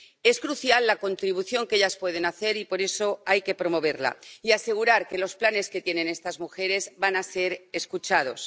Es crucial la contribución que ellas pueden hacer, y por eso hay que promoverla y asegurar que los planes que tienen estas mujeres van a ser escuchados.